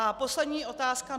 A poslední otázka.